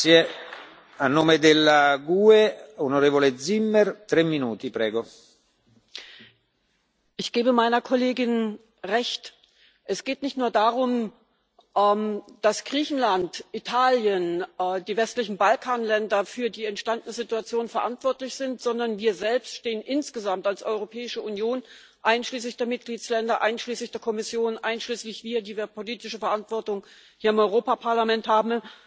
Herr Präsident! Ich gebe meiner Kollegin recht. Es geht nicht nur darum, dass Griechenland, Italien und die westlichen Balkanländer für die entstandene Situation verantwortlich sind, sondern wir selbst stehen insgesamt als Europäische Union einschließlich der Mitgliedsstaaten einschließlich der Kommission, einschließlich uns, die wir politische Verantwortung hier im Europäischen Parlament haben